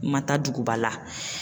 Ma taa duguba la.